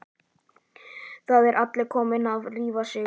Hvað er Alli kommi að rífa sig?